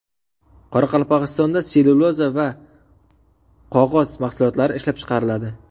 Qoraqalpog‘istonda sellyuloza va qog‘oz mahsulotlari ishlab chiqariladi.